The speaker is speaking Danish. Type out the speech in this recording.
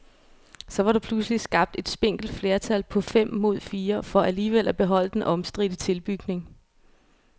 Så var der pludselig skabt et spinkelt flertal på fem mod fire for alligevel at beholde den omstridte tilbygning.